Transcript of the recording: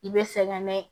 I bɛ sɛgɛn na